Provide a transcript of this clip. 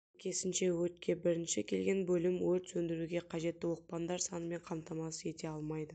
сәйкесінше өртке бірінші келген бөлім өрт сөндіруге қажетті оқпандар санымен қамтамасыз ете алмайды